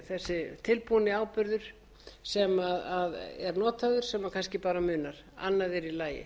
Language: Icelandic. þessi tilbúna áburður sem er notaður sem kannski bara munar annað er í lagi